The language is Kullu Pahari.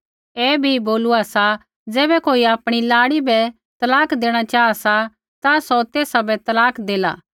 ऐ भी बोलूआ सा ज़ैबै कोई आपणी लाड़ी बै तलाक देणा चाहा सा ता सौ तेसा बै तलाक देला